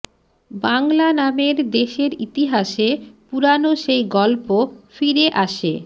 বাংলা নামের দেশের ইতিহাসে পুরানো সেই গল্প ফিরে আসে